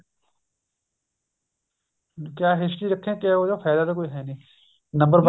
ਕਿਆ history ਰੱਖੇ ਉਹਦਾ ਫਾਇਦਾ ਤਾਂ ਕੋਈ ਹੈ ਨੀ number